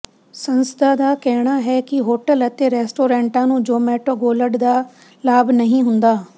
ਸੰਸਥਾ ਦਾ ਕਹਿਣਾ ਹੈ ਕਿ ਹੋਟਲ ਅਤੇ ਰੈਸਟੋਰੈਂਟਾਂ ਨੂੰ ਜ਼ੋਮੈਟੋ ਗੋਲਡ ਦਾ ਲਾਭ ਨਹੀਂ ਹੁੰਦਾ